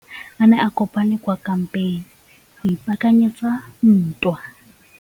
Masole a ne a kopane kwa kampeng go ipaakanyetsa ntwa.